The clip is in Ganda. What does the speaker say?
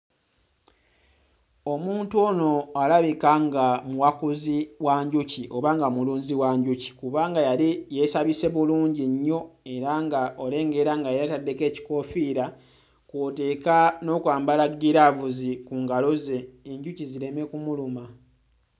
Omuntu ono alabika nga muwakuzi wa njuki oba nga mulunzi wa njuki kubanga yali yeesabise bulungi nnyo era nga olengera nga yeetaddeko ekikoofiira kw'oteeka n'okwambala ggiraavuzi ku ngalo ze enjuki zireme kumuluma.